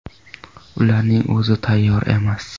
Ularning o‘zi tayyor emas.